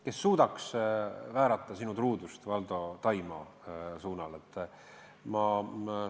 Kes suudaks väärata sinu truudust, Valdo, Taimaale.